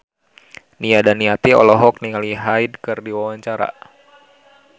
Nia Daniati olohok ningali Hyde keur diwawancara